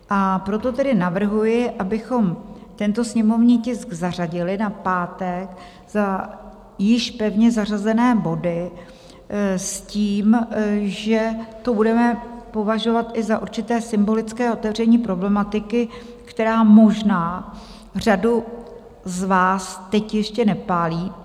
A proto tedy navrhuji, abychom tento sněmovní tisk zařadili na pátek za již pevně zařazené body s tím, že to budeme považovat i za určité symbolické otevření problematiky, která možná řadu z vás teď ještě nepálí.